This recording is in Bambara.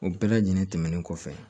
O bɛɛ lajɛlen tɛmɛnen kɔfɛ